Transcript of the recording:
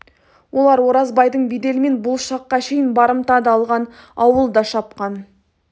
олар оразбайдың беделімен бұл шаққа шейін барымта да алған ауыл да шапқан